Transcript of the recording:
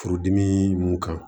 Furudimi mun kan